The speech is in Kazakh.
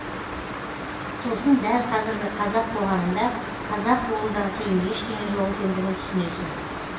сосын дәл қазіргі қазақ қоғамында қазақ болудан қиын ештеңе жоқ екендігін түсінесің